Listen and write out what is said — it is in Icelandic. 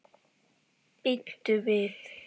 Bíddu við.